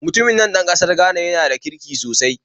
Mutumin nan ɗan ƙasar Ghana yana da kirki sosai